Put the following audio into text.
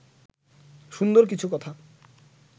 সুন্দর কিছু কথা